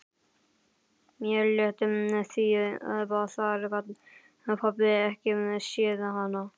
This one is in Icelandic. Mér létti því þar gat pabbi ekki séð hana.